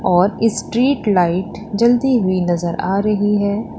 और street light जलती हुई नजर आ रही है।